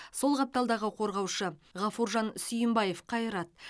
сол қапталдағы қорғаушы ғафуржан сүйімбаев қайрат